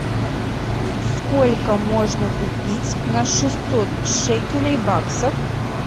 сколько можно купить на шестьсот шекелей баксов